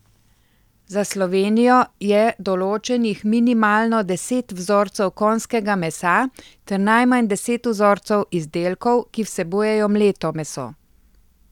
Za Slovenijo je določenih minimalno deset vzorcev konjskega mesa ter najmanj deset vzorcev izdelkov, ki vsebujejo mleto meso.